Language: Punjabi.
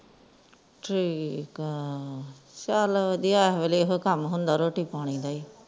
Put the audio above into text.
ਠੀਕ ਆ ਚਲ ਵਦੀਆ ਐਸ ਵੇਲੇ ਇਹੋ ਕੰਮ ਹੁੰਦਾ ਰੋਟੀ-ਪਾਣੀ ਦਾ ਹੀ